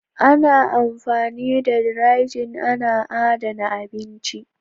Nan amfani da "dry-Jin " ana adana abinci.